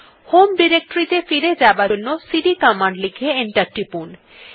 home directory ত়ে ফিরে যাবার জন্য সিডি কমান্ড লিখে এন্টার টিপুন